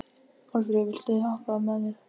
Málfríður, viltu hoppa með mér?